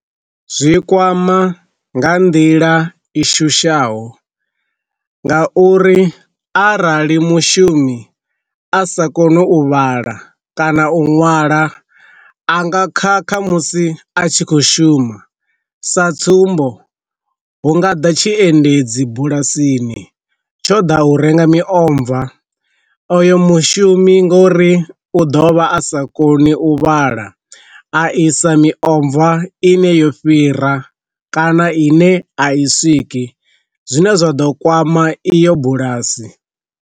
Zwi kwama nga nḓila i shushaho nga uri arali mushumi a sa koni u vhala kana u ṅwala a nga kha kha musi a tshi khou shuma sa tsumbo, hu nga ḓa tshi endedzi bulasini tsho di u renga miomva oyo mushumi ngori u dovha a sa koni u vhala a isa miomva ine yo fhira kana ine a i swiki zwine zwa ḓo kwama iyo bulasi.